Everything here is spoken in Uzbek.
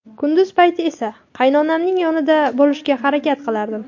Kunduz payti esa qaynonamning yonida bo‘lishga harakat qilardim.